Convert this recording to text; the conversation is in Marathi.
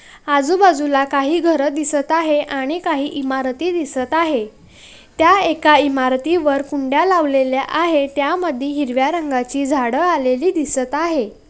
आजुबाजुला काही घर दिसत आहे आणि काही इमारती दिसत आहे त्या एका इमारती वर कुंड्या लावलेल्या आहे त्यामधी हिरव्या रंगाची झाड आलेली दिसत आहे.